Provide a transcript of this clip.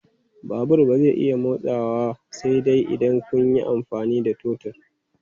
Babur ba zai iya motsawa sai dai idan kun yi amfani da totur.